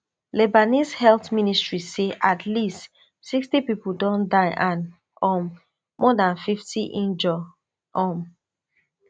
lebanese health ministry say at least sixty pipo don die and um more dan fifty injure um